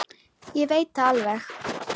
Ég veit það alveg.